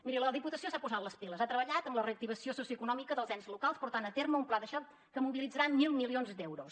miri la diputació s’ha posat les piles ha treballat en la reactivació socioeconòmica dels ens locals portant a terme un pla de xoc que mobilitzarà mil milions d’euros